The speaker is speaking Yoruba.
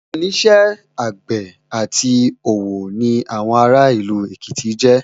Iṣẹ́ àgbẹ̀ àti òwò ni àwọn ará ìlú Èkìtì jẹ́